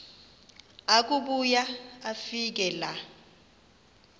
akubuya afike laa